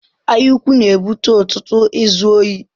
Anyaukwu na-ebute ọtụtụ izu ohi.